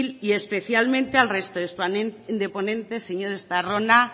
y especialmente al resto de ponentes señor estarrona